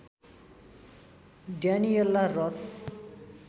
Daniella रस